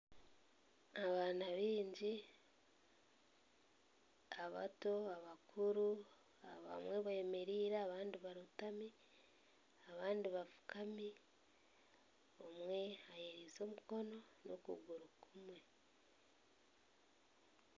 Abaana baingi abato, abakuru abamwe bemereire abandi barootami abandi bafuukami omwe ayereize omukono n'okuguru kumwe.